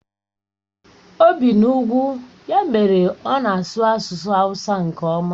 O bi n'ugwu, ya mere ọ na-asụ asusu hawusa nke oma.